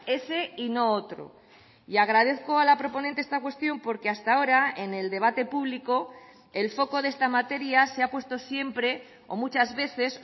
ese y no otro y agradezco a la proponente esta cuestión porque hasta ahora en el debate público el foco de esta materia se ha puesto siempre o muchas veces